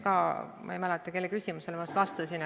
Ma ei mäleta, kelle esitatud samale küsimusele ma just vastasin.